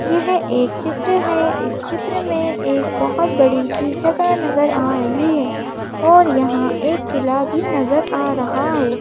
यह एक चित्र है इस चित्र में एक बहुत बड़ी सी जगह नजर आ रही है और यहां एक किला भी नजर आ रहा है।